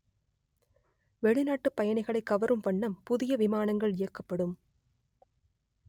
வெளிநாட்டுப் பயணிகளை கவரும் வண்ணம் புதிய விமானங்கள் இயக்கப்படும்